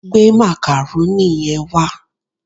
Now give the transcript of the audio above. Gbé macaroni yẹn wá